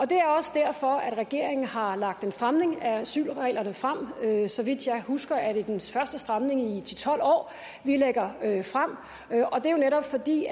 det er også derfor at regeringen har lagt en stramning af asylreglerne frem så vidt jeg husker er det den første stramning i ti til tolv år vi lægger frem og det er jo netop fordi